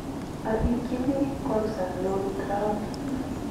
arikikyini korusan lorit raoni.